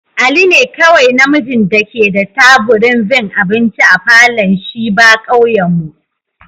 Ali ne kowai na mijin da ke da taburin vin abinci a falon shiba'kauyen mu.